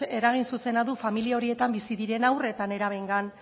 eragin zuzena du familia horietan bizi diren haur eta nerabeengan